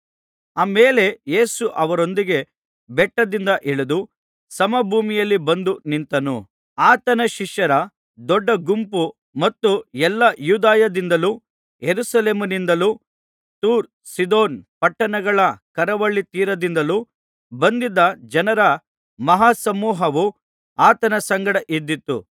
ಆ ಮೇಲೆ ಯೇಸು ಅವರೊಂದಿಗೆ ಬೆಟ್ಟದಿಂದ ಇಳಿದು ಸಮಭೂಮಿಯಲ್ಲಿ ಬಂದು ನಿಂತನು ಆತನ ಶಿಷ್ಯರ ದೊಡ್ಡಗುಂಪು ಮತ್ತು ಎಲ್ಲಾ ಯೂದಾಯದಿಂದಲೂ ಯೆರೂಸಲೇಮಿನಿಂದಲೂ ತೂರ್ ಸೀದೋನ್ ಪಟ್ಟಣಗಳ ಕರಾವಳಿತೀರದಿಂದಲೂ ಬಂದಿದ್ದ ಜನರ ಮಹಾಸಮೂಹವು ಆತನ ಸಂಗಡ ಇದ್ದಿತು